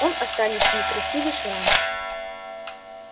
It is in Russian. он останется некрасивый шрам